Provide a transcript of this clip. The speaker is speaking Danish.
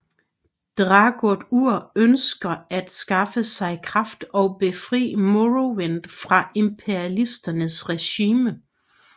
Dagoth Ur ønsker at skaffe sig kraft og befrie Morrowind fra Imperialernes regime